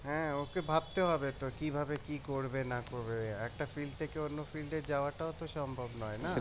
হ্যাঁ ওকে ভাবতে হবে তো কিভাবে কি করবে না করবে একটা field থেকে অন্য field এ যাওয়াটাও তো সম্ভব নয় না